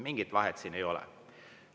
Mingit vahet siin ei ole.